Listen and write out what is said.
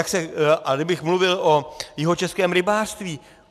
A kdybych mluvil o Jihočeském rybářství.